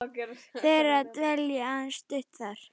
þeirra dvelji aðeins stutt þar.